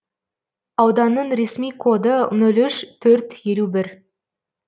ауданның ресми коды нол үш төрт елу бір